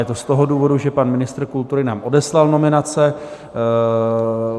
Je to z toho důvodu, že pan ministr kultury nám odeslal nominace.